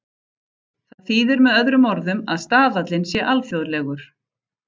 Það þýðir með öðrum orðum að staðallinn sé alþjóðlegur.